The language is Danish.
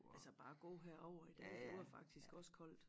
Altså bare at gå herovre i dag det var faktisk også koldt